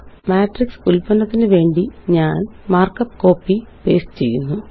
matrix ഉല്പന്നത്തിനു വേണ്ടി ഞാന് മാര്ക്കപ്പ് കോപ്പി പേസ്റ്റ് ചെയ്യുന്നു